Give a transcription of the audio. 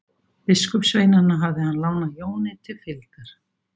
Biskupssveinana hafði hann lánað Jóni til fylgdar.